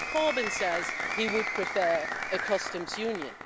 Mr Corbyn says he would prefer a customs union.